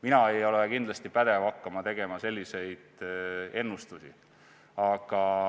Mina ei ole kindlasti pädev hakkama tegema selliseid ennustusi.